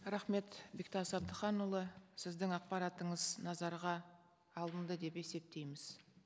рахмет бектас абдыханұлы сіздің ақпаратыңыз назарға алынды деп есептейміз